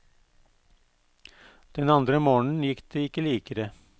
Den andre morgenen gikk det ikke likere.